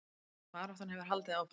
Baráttan hefur haldið áfram